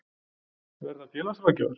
Verða félagsráðgjafar?